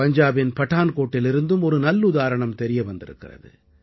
பஞ்சாபின் படான்கோட்டிலிருந்தும் ஒரு நல்லுதாரணம் தெரிய வந்திருக்கிறது